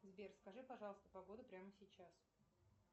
сбер скажи пожалуйста погоду прямо сейчас